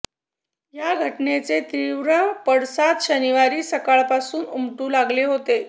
या घटनेचे तीव्र पडसाद शनिवारी सकाळपासून उमटू लागले होते